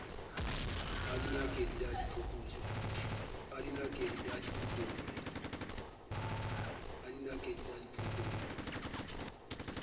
a dinakedi le a diphokojwe